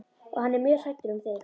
Og hann er mjög hræddur um þig.